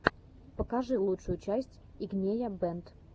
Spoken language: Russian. покажи лучшую часть игнея бэнд